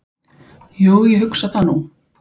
"""Jú, ég hugsa það nú."""